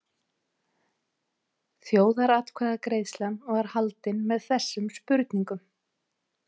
Þjóðaratkvæðagreiðslan var haldin með þessum spurningum.